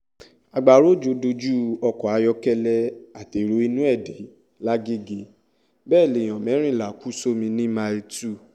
agbára òjò dojú ọkọ̀ ayọ́kẹ́lẹ́ àtẹ̀rọ inú ẹ̀ dé lagege bẹ́ẹ̀ lèèyàn mẹ́rìnlá kú sómi ní mile two